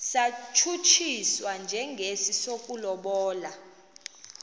satshutshiswa njengesi sokulobola